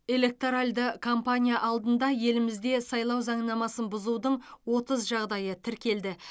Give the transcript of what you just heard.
электоральды кампания алдында елімізде сайлау заңнамасын бұзудың отыз жағдайы тіркелді